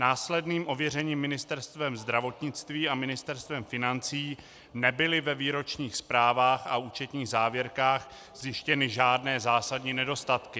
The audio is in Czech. Následným ověřením Ministerstvem zdravotnictví a Ministerstvem financí nebyly ve výročních zprávách a účetních závěrkách zjištěny žádné zásadní nedostatky.